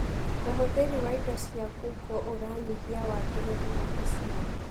ũhũthĩri wa indo cia ngungo ũranyihia wagĩrĩru wa maciaro.